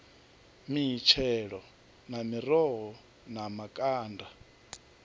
mitshelo na miroho na makanda